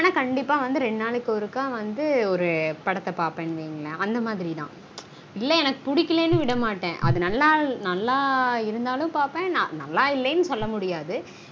ஆனா கண்டீப்பா ரெண்டு நாளைக்கு ஒரு படத்த பாப்பன் வைங்கலன் அந்த மாதிரி தான் எனக்கு புடிக்கலனு விடமாட்டன் அது நல்லா இருந்தாலும் பாப்பன் நல்லா இல்லனு சொல்ல முடியாது